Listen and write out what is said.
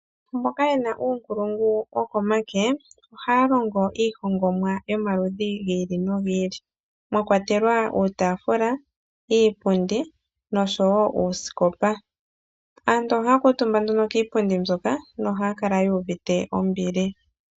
Mboka ye na uunkulungu wokomake ohaya longo iihongomwa yomaludhi gi ili nogi ili. Mwa kwatelwa uutaafula, iipundi noshowo uusikopa. Aantu ohaya kuutumba nduno kiipundi mbyoka nohaya kala yu uvite ombili.